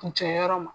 Kun jɛnyɔrɔ ma